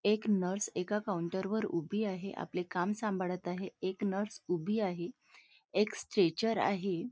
इथे एक नर्स एका काऊंटर वर उभी आहे आपले काम सांभाळत आहे एक नर्स उभी आहे एक स्ट्रेचर आहे.